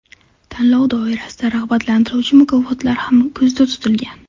Tanlov doirasida rag‘batlantiruvchi mukofotlar ham ko‘zda tutilgan.